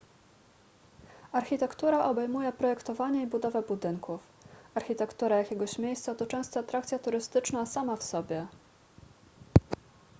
architektura obejmuje projektowanie i budowę budynków architektura jakiegoś miejsca to często atrakcja turystyczna sama w sobie